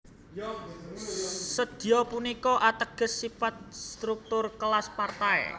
Sedya punika ateges sipat struktur kelas Partai